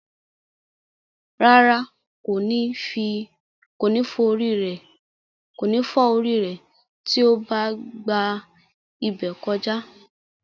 Rárá, kò ní fọ́ orí rẹ̀ tí ó bá gba ibẹ̀ kọjá.